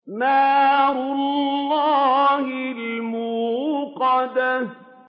نَارُ اللَّهِ الْمُوقَدَةُ